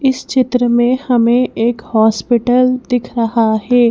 इस चित्र में हमें एक हॉस्पिटल दिख रहा है।